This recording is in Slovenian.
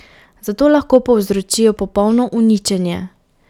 Zato lahko povzročijo popolno uničenje.